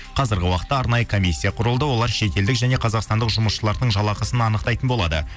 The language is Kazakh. қазіргі уақытта арнайы комиссия құрылды олар шетелдік және қазақстандық жұмысшыларының жалақысын анықтайтын болады